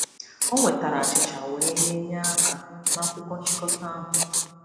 O wetara achịcha wee nye nye aka n'akwụkwọ nchịkọta ahụ.